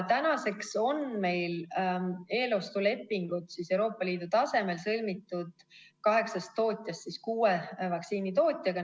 Tänaseks on meil eelostulepingud Euroopa Liidu tasemel sõlmitud kaheksast tootjast kuue vaktsiinitootjaga.